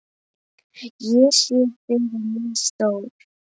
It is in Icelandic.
Ég sé fyrir mér stór